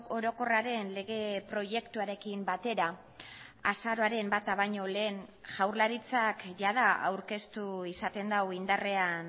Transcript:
orokorraren lege proiektuarekin batera azaroaren bata baino lehen jaurlaritzak jada aurkeztu izaten du indarrean